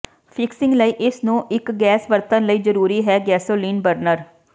fixing ਲਈ ਇਸ ਨੂੰ ਇੱਕ ਗੈਸ ਵਰਤਣ ਲਈ ਜ਼ਰੂਰੀ ਹੈ ਗੈਸੋਲੀਨ ਬਰਨਰ